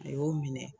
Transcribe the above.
A y'o minɛ